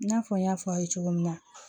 I n'a fɔ n y'a fɔ aw ye cogo min na